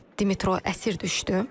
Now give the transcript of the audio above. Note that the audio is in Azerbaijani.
Dimitro əsir düşdü?